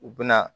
U bɛna